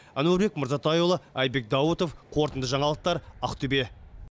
әнуарбек мырзатайұлы айбек даутов қорытынды жаңалықтар ақтөбе